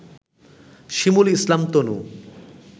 শিমুল Islam তনু